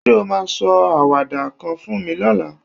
Ṣé o máa sọ àwàdà kan fún mi lọ́la?